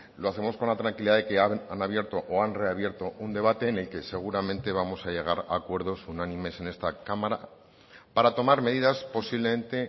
lo hacemos con la tranquilidad de que han abierto o ha reabierto un debate en el que seguramente vamos a llegar a acuerdos unánimes en esta cámara para tomar medidas posiblemente